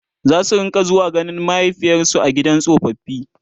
zasu rinka zuwa ganin mahaifiyarsu a gidan tsofaffi